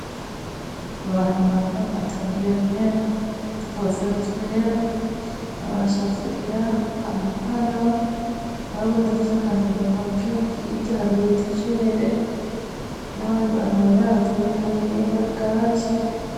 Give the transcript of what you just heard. Abantu bambaye amataburiya yera dkofero twera abashakurira amapano hari uwu nduafise akantu muntoke higa hariubuy itajere n'abandi bantu bambaye amataburiya yera gazo.